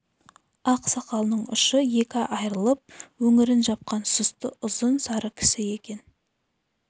ақ сақалының ұшы екі айрылып өңірін жапқан сұсты ұзын сары кісі екен